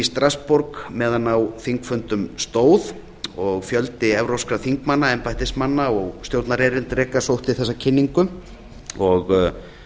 strassborg meðan á þingfundum stóð og fjöldi evrópska þingmanna embættismanna og stjórnarerindreka sóttu þessa kynningu og